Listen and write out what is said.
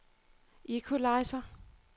equalizer